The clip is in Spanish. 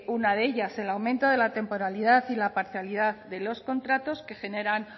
una de ellas el aumento de la temporalidad y la parcialidad de los contratos que generan